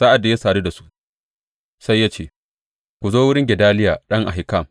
Sa’ad da ya sadu da su, sai ya ce, Ku zo wurin Gedaliya ɗan Ahikam.